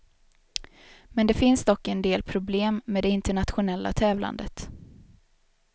Men det finns dock en del problem med det internationella tävlandet.